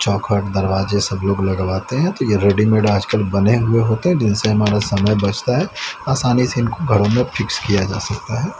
चौखट दरवाजे सब लोग लगवाते हैं तो ये रेडी-मेड आजकल बने हुए होते हैं जिनसे हमारा समय बचता है आसानी से इनको घरों में फिक्स किया जा सकता हैं।